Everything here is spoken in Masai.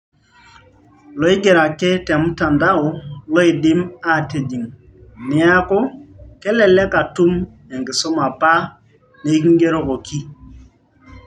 Loigeroki ake te mtandao loidim aaatijing' neaku kelelek atum enkisuma apa niking'erokoki.